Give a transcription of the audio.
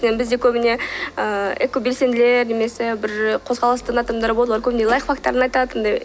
бізде көбіне ыыы экобелсенділер немесе бір қозғалыстың адамдары болады ғой көбіне лайфхактарын айтады андай